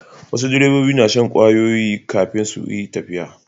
Wasu direbobi na shan ƙwayoyi kafin su yi tafiya.